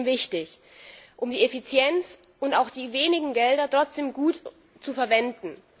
Das ist extrem wichtig, um die Effizienz und auch die wenigen Gelder trotzdem gut zu verwenden.